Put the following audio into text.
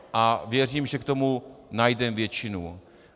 A věřím, že k tomu najdeme většinu.